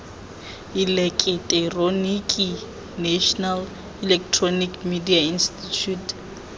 eleketeroniki national electronic media institute